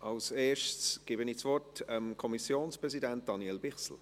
Als Erstes gebe ich das Wort dem Kommissionspräsidenten, Daniel Bichsel.